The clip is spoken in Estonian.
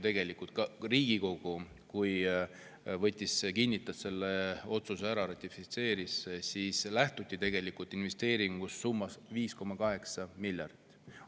Ka Riigikogu, kui ta selle otsuse ära kinnitas, kui ta ratifitseeris selle, lähtus tegelikult investeeringust summas 5,8 miljardit.